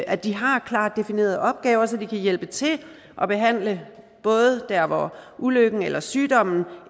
at de har klart definerede opgaver så de kan hjælpe til og behandle både der hvor ulykken eller sygdommen